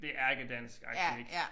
Det ærkedansk agtig ik